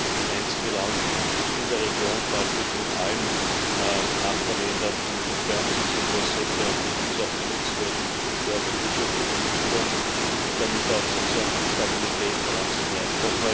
Es ist das einzige Land, das in der Region praktisch mit allen Nachbarländern on good terms ist, und das sollte und muss auch genutzt werden, um dort die wirtschaftliche Entwicklung und damit auch die Stabilität voranzutreiben.